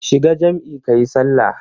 Shiga jam'i kayi sallah.